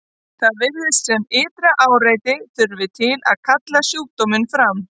Það virðist sem ytra áreiti þurfi til að kalla sjúkdóminn fram.